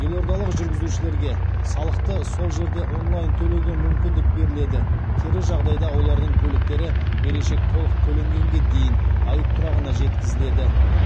елордалық жүргізушілерге салықты сол жерде онлайн төлеуге мүмкіндік беріледі кері жағдайда олардың көліктері берешек толық төленгенге дейін айып тұрағына жеткізіледі